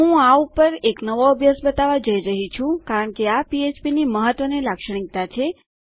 હું આ ઉપર એક નવો અભ્યાસ બતાવવા જઈ રહી છું કારણ કે આ પીએચપીની મહત્વની લાક્ષણિકતા છે